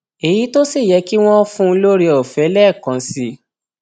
èyí tó sì yẹ kí wọn fún un lọrẹọfẹ lẹẹkan sí i